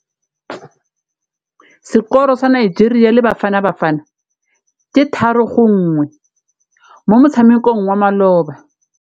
Sekôrô sa Nigeria le Bafanabafana ke 3-1 mo motshamekong wa malôba.